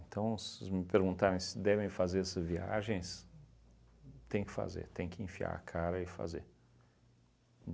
Então, se me perguntarem se devem fazer essa viagens, tem que fazer, tem que enfiar a cara e fazer.